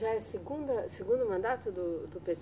Já é segunda, segundo mandato do, do